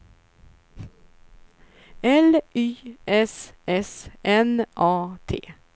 L Y S S N A T